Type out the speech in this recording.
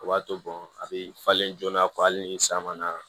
O b'a to a bɛ falen joona kɔ hali ni san ma na